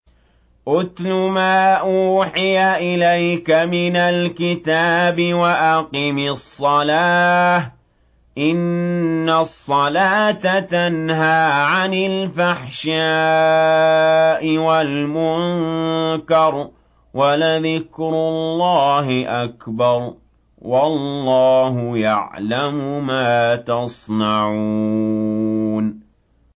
اتْلُ مَا أُوحِيَ إِلَيْكَ مِنَ الْكِتَابِ وَأَقِمِ الصَّلَاةَ ۖ إِنَّ الصَّلَاةَ تَنْهَىٰ عَنِ الْفَحْشَاءِ وَالْمُنكَرِ ۗ وَلَذِكْرُ اللَّهِ أَكْبَرُ ۗ وَاللَّهُ يَعْلَمُ مَا تَصْنَعُونَ